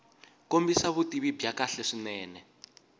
kombisa vutivi byo kahle swinene